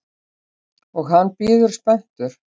Og hann bíður spenntur.